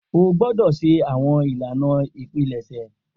O gbọdọ ṣe awọn ilana ipilẹsẹ!